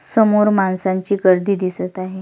समोर माणसांची गर्दी दिसत आहे.